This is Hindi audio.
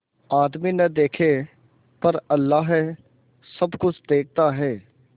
आदमी न देखे पर अल्लाह सब कुछ देखता है